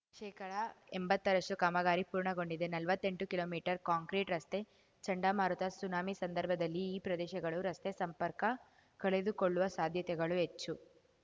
ಶೇಕಡಎಂಬತ್ತರಷ್ಟುಕಾಮಗಾರಿ ಪೂರ್ಣಗೊಂಡಿದೆ ನಲ್ವತ್ತೆಂಟು kilometre concrete ರಸ್ತೆ ಚಂಡಮಾರುತ ಸುನಾಮಿ ಸಂದರ್ಭದಲ್ಲಿ ಈ ಪ್ರದೇಶಗಳು ರಸ್ತೆ ಸಂಪರ್ಕ ಕಳೆದುಕೊಳ್ಳುವ ಸಾಧ್ಯತೆಗಳು ಹೆಚ್ಚು